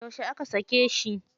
Yauce aka sake shi?